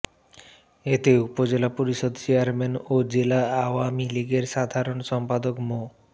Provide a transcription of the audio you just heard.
এতে জেলা পরিষদ চেয়ারম্যান ও জেলা আওয়ামী লীগের সাধারণ সম্পাদক মো